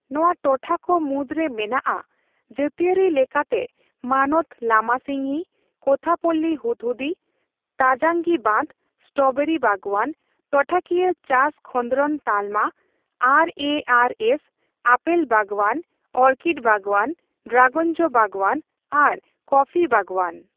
ᱱᱚᱣᱟ ᱴᱚᱴᱷᱟ ᱠᱚ ᱢᱩᱫᱨᱮ ᱢᱮᱱᱟᱜᱼᱟ ᱡᱟᱹᱛᱤᱭᱟᱹᱨᱤ ᱞᱮᱠᱟᱛᱮ ᱢᱟᱱᱚᱛ ᱞᱟᱢᱟᱥᱤᱝᱜᱤ, ᱠᱳᱛᱷᱟᱯᱚᱞᱞᱤ ᱦᱚᱫᱦᱩᱫᱤ, ᱛᱟᱡᱟᱝᱜᱤ ᱵᱟᱸᱫᱷ, ᱥᱴᱚᱨᱚᱵᱮᱨᱤ ᱵᱟᱜᱣᱟᱱ, ᱴᱚᱴᱷᱟᱠᱤᱭᱟᱹ ᱪᱟᱥ ᱠᱷᱚᱸᱫᱽᱨᱚᱫ ᱛᱟᱞᱢᱟ (R A R S), apple ᱵᱟᱜᱟᱶᱟᱱ, ᱚᱨᱠᱤᱰ ᱵᱟᱜᱟᱣᱟᱱ, ᱰᱨᱟᱜᱚᱱ ᱡᱚ ᱵᱟᱜᱣᱟᱱ ᱟᱨ ᱠᱚᱯᱷᱤ ᱵᱟᱜᱣᱟᱱ ᱾